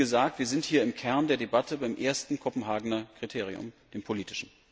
Wie gesagt, wir sind hier im Kern der Debatte beim ersten Kopenhagener Kriterium, dem politischen.